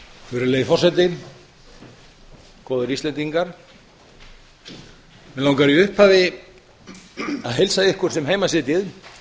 virðulegi forseti góðir íslendingar mig langar í upphafi að heilsa ykkur sem heima sitjið